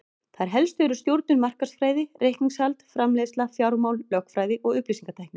Þær helstu eru stjórnun, markaðsfræði, reikningshald, framleiðsla, fjármál, lögfræði og upplýsingatækni.